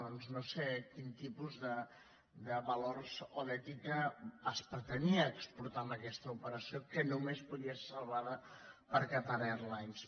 doncs no sé quin tipus de valors o d’ètica es pretenia exportar amb aquesta operació que només podia ser salvada per qatar airways